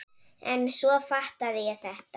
En svo fattaði ég þetta!